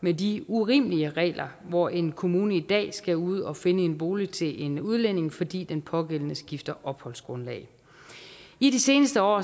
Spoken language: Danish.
med de urimelige regler hvor en kommune i dag skal ud og finde en bolig til en udlænding fordi den pågældende skifter opholdsgrundlag i de seneste år